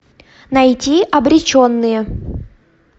найти обреченные